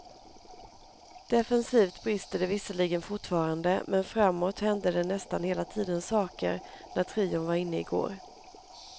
Defensivt brister det visserligen fortfarande, men frammåt hände det nästan hela tiden saker när trion var inne i går.